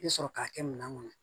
I bɛ sɔrɔ k'a kɛ minɛn kɔnɔ